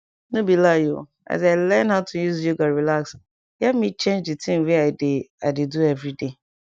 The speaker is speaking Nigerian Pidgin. nor be lie o as i learn how to use yoga relax e help me change di thing wey i dey i dey do everyday